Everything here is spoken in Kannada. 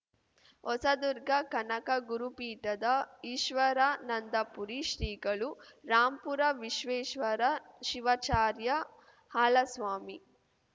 ಹೊಸದುರ್ಗ ಕನಕ ಗುರುಪೀಠದ ಈಶ್ವರಾನಂದಪುರಿ ಶ್ರೀಗಳು ರಾಂಪುರ ವಿಶ್ವೇಶ್ವರ ಶಿವಾಚಾರ್ಯ ಹಾಲಸ್ವಾಮಿ